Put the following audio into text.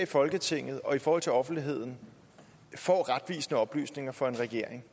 i folketinget og i forhold til offentligheden får retvisende oplysninger fra en regering